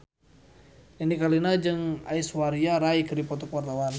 Nini Carlina jeung Aishwarya Rai keur dipoto ku wartawan